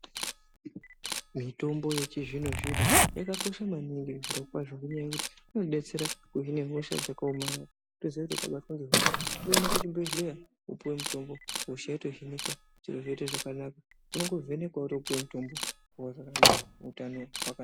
Mitombo yechizvono zvino yakakosha maningi zviro kwaZvo ngenyaya yekuti inodetsera kuhine hodha dzakaomarara woziye kuti ukabatwe hosha unoende kuchibhedhleya wopuwe mutombo hosha yotohinika zvoite zviro zvakanaka unongovhenekwa wotopuwe mutombo worarana utano hwaka.